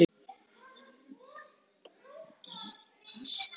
Ég hafði náð markmiðinu: Ég var orðinn heimsfrægur.